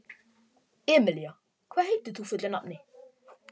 Emelía, hvað heitir þú fullu nafni?